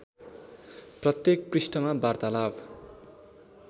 प्रत्येक पृष्ठमा वार्तालाप